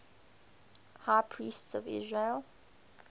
high priests of israel